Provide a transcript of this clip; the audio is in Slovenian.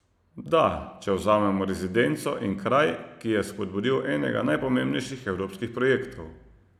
Da, če vzamemo rezidenco in kraj, ki je spodbudil enega najpomembnejših evropskih projektov.